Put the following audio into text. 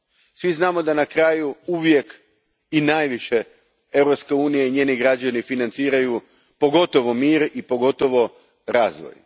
Svi znamo da na kraju uvijek, i najviše, Europska unija i njezini građani financiraju pogotovo mir i pogotovo razvoj.